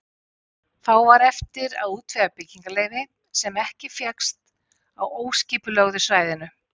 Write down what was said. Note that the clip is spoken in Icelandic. Þá var eftir að útvega byggingarleyfi, sem ekki fékkst á óskipulögðu svæðinu.